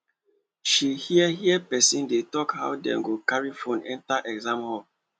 she hear hear person dey talk how dem go carry phone enter exam hall